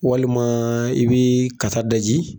Walima i bɛ kata daji